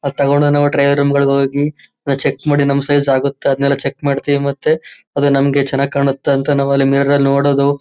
ಅದು ತಗೊಂಡು ನಾವು ಟ್ರಯಲ್ ರೂಮ್ ಗಳಿಗೆ ಹೋಗಿ ಚೆಕ್ ಮಾಡಿ ನಮ್ಮ್ ಸೈಜ್ ಆಗುತ್ತಾ ಅದನ್ನೆಲ್ಲ ಚೆಕ್ ಮಾಡ್ತೀವಿ ಮತ್ತೆ ಅದು ನಮಗೆ ಚೆನ್ನಾಗಿ ಕಾಣುತ್ತ ಅಂತ ನಾವು ಅಲ್ಲಿ ಮಿರರ್ ಳ್ಳಿ ನೋಡೋದು.